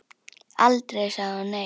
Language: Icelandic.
Aldrei sagði hún nei.